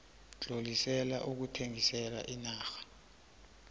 tlolisela ukuthengisela iinarha